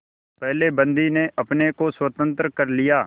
पहले बंदी ने अपने को स्वतंत्र कर लिया